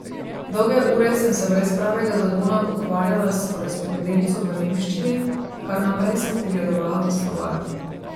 Dolge ure sem se brez pravega zagona ukvarjala s korespondenco v nemščini, kar naprej sem pogledovala v slovar.